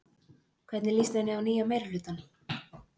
Hvernig líst henni á nýja meirihlutann?